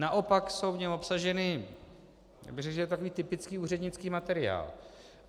Naopak jsou v něm obsaženy - já bych řekl, že je to takový typický úřednický materiál.